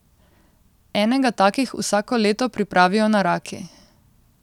Enega takih vsako leto pripravijo na Raki.